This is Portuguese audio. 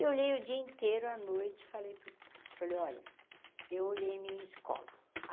Eu olhei o dia inteiro, a noite, falei para o pai, falei, olha, eu olhei a minha escola.